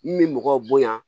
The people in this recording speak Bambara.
N bɛ mɔgɔw bonya